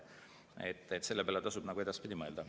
Selle peale tasub edaspidi mõelda.